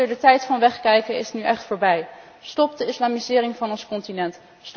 De tijd van wegkijken is nu echt voorbij. Stop de islamisering van ons continent.